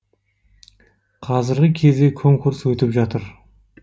қазіргі кезде конкурс өтіп жатыр